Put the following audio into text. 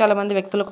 చాలా మంది వ్యక్తులు.